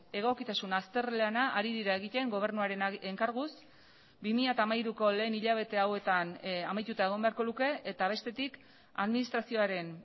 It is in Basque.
egokitasun azterlana ari dira egiten gobernuaren enkarguz bi mila hamairuko lehen hilabete hauetan amaituta egon beharko luke eta bestetik administrazioaren